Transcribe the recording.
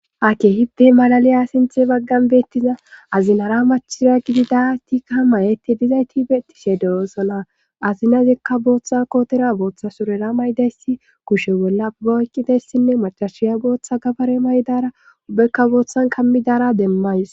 Ha kehippe malaliya sinthe baggan beettiza azinara machira gidida tikka mayeti dizay tibetishe derosana azinazikka booththa kootera booththa surera maydayssi kushe bolla boyqqidessinne macashiya booththa gabare maydara ubekka booththan kammidara demmays